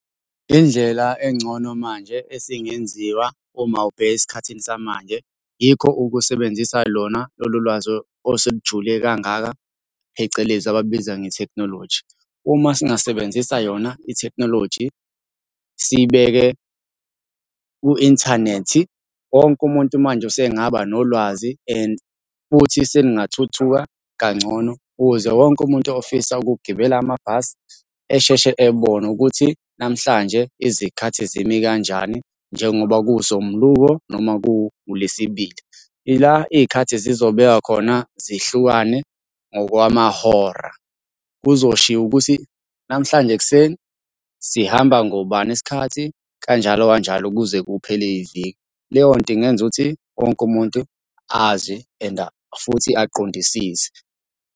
Indlela engcono manje esingenziwa uma ubheka esikhathini samanje, yikho ukusebenzisa lona lolu lwazi oselujule kangaka, phecelezi abalubiza ngethekhinoloji. Uma singasebenzisa yona ithekhinoloji, siyibeke ku-inthanethi, wonke umuntu manje usengaba nolwazi and futhi selingathuthuka kangcono ukuze wonke umuntu ofisa ukugibela amabhasi esheshe ebone ukuthi namhlanje izikhathi zimi kanjani njengoba kuwumsombuluko, noma ku-ulwesibili. Ila iy'khathi zizobeka khona zihlukane ngokwamahora. Kuzoshiwo ukuthi, namhlanje ekuseni sihamba ngobani iskhathi kanjalo kanjalo kuze kuphele iviki. Leyo nto ingenza ukuthi wonke umuntu azi and futhi aqondisise.